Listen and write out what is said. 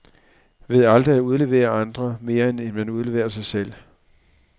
Ved aldrig at udlevere andre, mere end man udleverer sig selv.